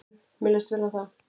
Mér leist vel á það.